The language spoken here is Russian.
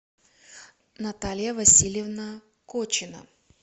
наталья васильевна кочина